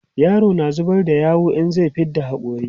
yaro na zubar da yawu in zai fidda hakori